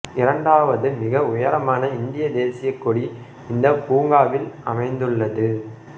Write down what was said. இரண்டாவது மிக உயரமான இந்திய தேசியக் கொடி இந்த பூங்காவில் அமைந்துள்ளது